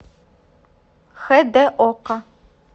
хд окко